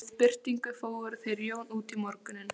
Við birtingu fóru þeir Jón út í morguninn.